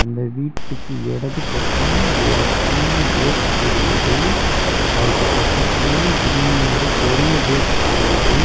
இந்த வீட்டுக்கு இடது பக்கம் ஒரு சின்ன கேட் தெரியுது. அதுக்கு பக்கத்திலேயே இன்னியொரு பெரிய கேட் தெரியுது.